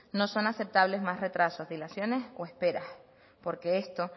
no son aceptables más retrasos dilaciones o esperas porque esto